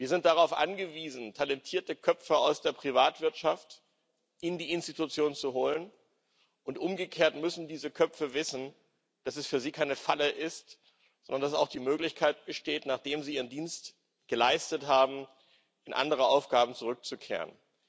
Wir sind darauf angewiesen, talentierte Köpfe aus der Privatwirtschaft in die Institutionen zu holen, und umgekehrt müssen diese Köpfe wissen, dass es für sie keine Falle ist, sondern dass auch die Möglichkeit besteht, nachdem sie ihren Dienst geleistet haben, in andere Aufgaben zurückzukehren.